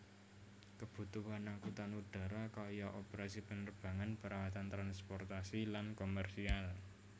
Kebutuhan angkutan udara kaya operasi penerbangan perawatan transportasi lan komersial